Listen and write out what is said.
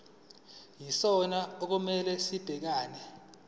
yisona okumele sibhekane